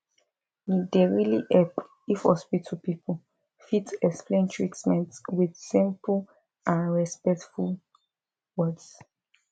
e dey really help if hospital people fit explain treatment with simple and respectful words